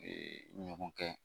Ee ɲɔgɔn kɛ